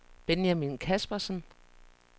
Benjamin Kaspersen